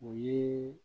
O ye